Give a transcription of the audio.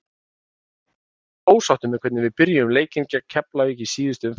Ég var mjög ósáttur með hvernig við byrjuðum leikinn gegn Keflavík í síðustu umferð.